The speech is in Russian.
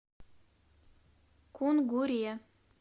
кунгуре